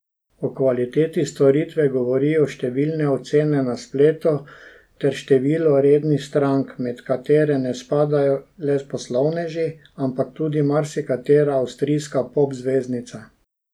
O kvaliteti storitve govorijo številne ocene na spletu ter število rednih strank, med katere ne spadajo le poslovneži, ampak tudi marsikatera avstrijska pop zvezdica.